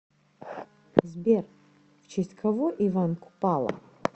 сбер в честь кого иван купала